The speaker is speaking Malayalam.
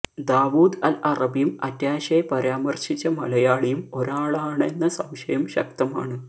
ദാവൂദ് അൽ അറബിയും അറ്റാഷെ പരാമർശിച്ച മലയാളിയും ഒരാളാണെന്ന സംശയം ശക്തമാണ്